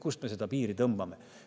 Kuhu me selle piiri tõmbame?